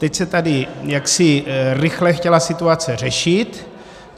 Teď se tady jaksi rychle chtěla situace řešit.